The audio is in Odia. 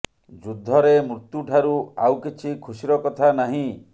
ଯୁଦ୍ଧରେ ମୃତ୍ୟୁ ଠାରୁ ଆଉ କିଛି ଖୁସିର କଥା ନାହିଁ